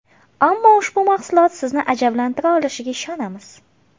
Ammo ushbu mahsulot sizni ajablantira olishiga ishonamiz.